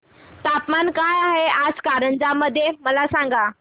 तापमान काय आहे आज कारंजा मध्ये मला सांगा